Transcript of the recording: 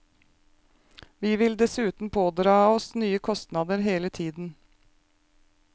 Vi vil dessuten pådra oss nye kostnader hele tiden.